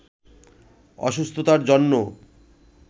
অসুস্থতার জন্য